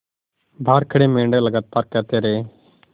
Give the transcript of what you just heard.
बाहर खड़े मेंढक लगातार कहते रहे